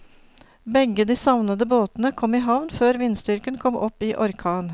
Begge de savnede båtene kom i havn før vindstyrken kom opp i orkan.